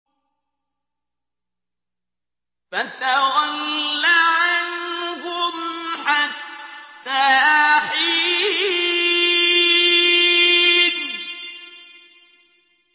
فَتَوَلَّ عَنْهُمْ حَتَّىٰ حِينٍ